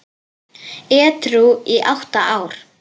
Edrú í átta ár!